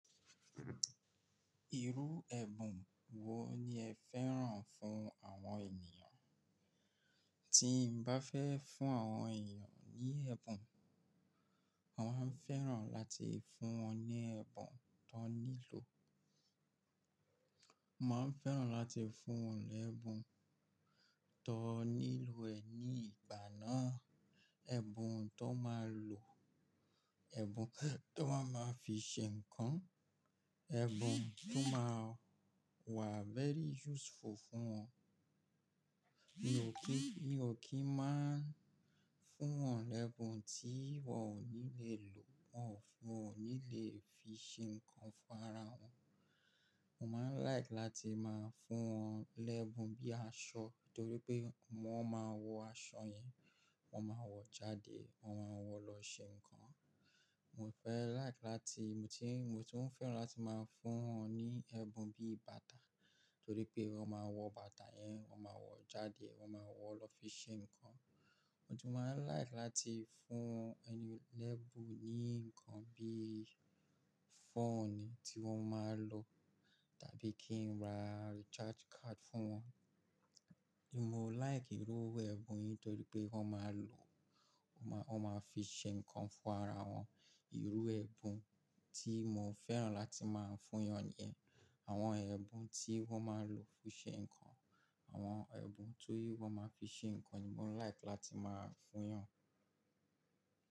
Irú ẹ̀bùn wo ni ẹ fẹ́ràn fún àwọn ènìyàn? Tí n bá fẹ́ fún àwọn ènìyàn ní ẹ̀bùn, mà á fẹ́ràn láti fún wọn ní ẹ̀bùn tó nílò. Mà á fẹ́ràn láti fún wọn lẹ́ẹ̀bùn tó nílò ẹ ní ìgbà náà. Ẹ̀bùn tó máa lò, ẹ̀bùn tó máa ma fi ṣe ǹkan, ẹ̀bùn tó máa wà very useful fún wọn. Mi ò kí, mi ò kí máa fún wọn lẹ́ẹ̀bùn tí wọn ò ní le lò, wọ́n ò ní le fi ṣe ǹkan fún ara wọn. Mo máa like láti máa fún wọn l'ẹ́bùn bí aṣọ, torí pé wọ́n máa wọ aṣọ yẹn, wọ́n máa wọ jáde, wọ́n máa wọ̀ lọ ṣe ǹkan. Mo fẹ́ like láti, mo ti n, mo tún fẹ́ràn láti máa fún wọn ní ẹ̀bùn bí bàtà, torí pé wọ́n máa wọ bàtà yẹn, wọ́n máa wọ jáde, wọ́n máa wọ̀ lọ fi ṣe ǹkan. Mo tún máa like láti fún ẹni l'ẹ̀bùn ní ǹkan bí fóònù tí wọ́n máa lò, tàbí kí n ra recharge card fún wọn. Mo like irú ẹ̀bùn yẹn torí pé wọ́n máa lò, wọ́n máa, wọ́n máa fi ṣe ǹkan fún ara wọn. Irú ẹ̀bùn tí mo fẹ́ràn láti máa fún yàn ni ẹ. Àwọn ẹ̀bùn tí wọ́n máa lò fi ṣe ǹkan, àwọn ẹ̀bùn tí wọ́n máa fi ṣe ǹkan ni mò like láti máa fún yàn.